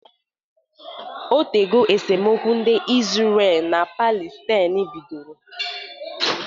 Otego esemokwu ndị Izrel na Palestain bidoro